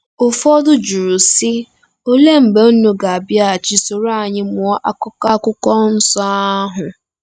Ụfọdụ jụrụ, sị, ‘Olee mgbe unu ga-abịaghachi soro anyị mụọ akụkụ Akwụkwọ Nsọ ahụ? '